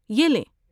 یہ لیں۔